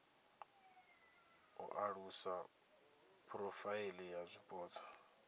u alusa phurofaili ya zwipotso